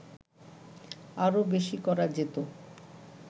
আরো বেশী করা যেতো